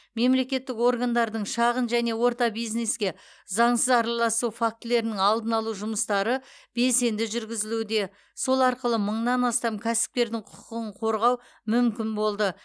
мемлекеттік органдардың шағын және орта бизнеске заңсыз араласу фактілерінің алдын алу жұмыстары белсенді жүргізілуде сол арқылы мыңнан астам кәсіпкердің құқығын қорғау мүмкін болды